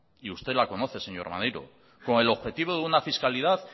y usted la conoce señor maneiro con el objetivo de una fiscalidad